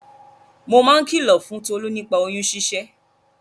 Mo máa ń kìlò fún Tolú nípa oyún ṣíṣẹ́.